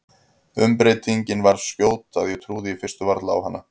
Umbreytingin svo skjót að ég trúði í fyrstu varla á hana.